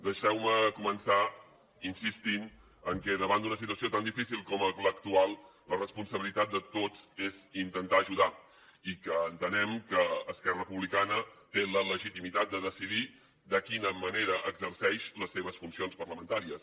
deixeu me començar insistint que davant d’una situació tan difícil com l’actual la responsabilitat de tots és intentar ajudar i que entenem que esquerra republicana té la legitimitat de decidir de quina manera exerceix les seves funcions parlamentàries